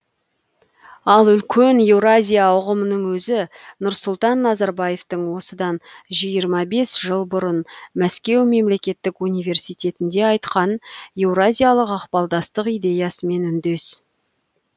ал үлкен еуразия ұғымының өзі нұрсұлтан назарбаевтың осыдан жиырма бес жыл бұрын мәскеу мемлекеттік университетінде айтқан еуразиялық ықпалдастық идеясымен үндес